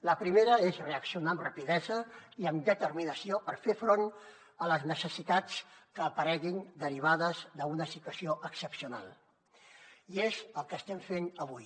la primera és reaccionar amb rapidesa i amb determinació per fer front a les necessitats que apareguin derivades d’una situació excepcional i és el que estem fent avui